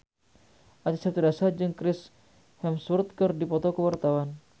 Acha Septriasa jeung Chris Hemsworth keur dipoto ku wartawan